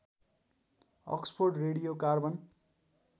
Oxford radio carbon